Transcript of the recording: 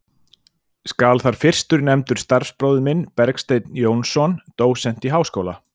Skal þar fyrstur nefndur starfsbróðir minn, Bergsteinn Jónsson, dósent í Háskóla